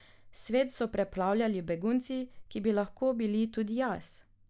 Svet so preplavljali begunci, ki bi lahko bili tudi jaz.